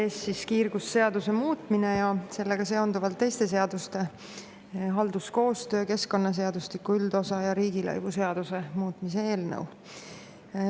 Teie ees on kiirgusseaduse muutmise ja sellega seonduvalt teiste seaduste – halduskoostöö seaduse, keskkonnaseadustiku üldosa seaduse ja riigilõivuseaduse – muutmise eelnõu.